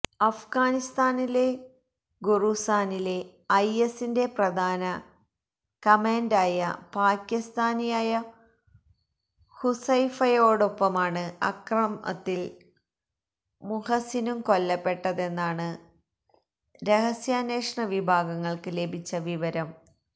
അഫ്ഗാനിസ്ഥാനിലെ ഖൊറൂസാനിലെ ഐ എസിന്റെ പ്രധാന കമാന്ഡന്റായ പാക്കിസ്ഥാനിയായ ഹുസൈഫയോടൊപ്പമാണ് അക്രത്തില് മുഹസിനും കൊല്ലപ്പെട്ടതെന്നാണു രഹസ്യാന്വേഷണ വിഭാഗങ്ങള്ക്ക് ലഭിച്ച വിവരം